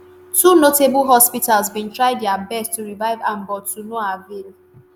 two notable hospitals bin try dia best to revive am but to no avail.